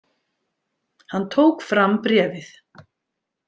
Hann tók fram bréfið.